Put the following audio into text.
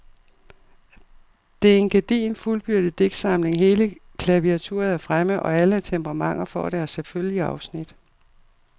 Det er en gedigen fuldbyrdet digtsamling, hele klaviaturet er fremme, og alle temperamenter får deres selvfølgelige afsnit.